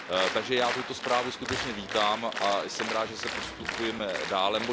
Takže já tuto zprávu skutečně vítám a jsem rád, že postupujeme dále.